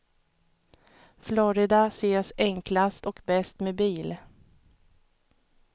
Florida ses enklast och bäst med bil.